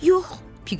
Yox, Piqlet dedi.